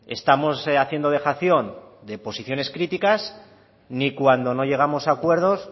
estamos haciendo dejación de posiciones críticas ni cuando no llegamos a acuerdos